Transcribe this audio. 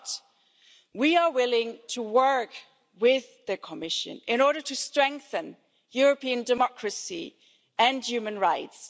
But we are willing to work with the Commission in order to strengthen European democracy and human rights